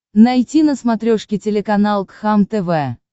найти на смотрешке телеканал кхлм тв